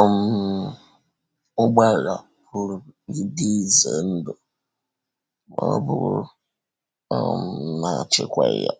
um Ụgbọala pụrụ ịdị ize ndụ ma ọ̀ bụrụ um na a chịkwaghị ya